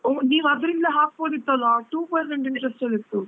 ಓ ನೀವು ಅದ್ರಿಂದಲೇ ಹಾಕ್ಬೋದಿತ್ತಲ್ಲಾ? two percent interest ಅಲ್ಲಿ ಇತ್ತು.